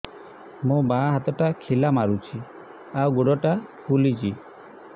ମୋ ବାଆଁ ହାତଟା ଖିଲା ମାରୁଚି ଆଉ ଗୁଡ଼ ଟା ଫୁଲୁଚି